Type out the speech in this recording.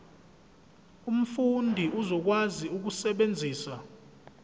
umfundi uzokwazi ukusebenzisa